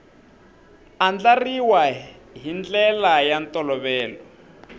andlariwa hi ndlela ya ntolovelo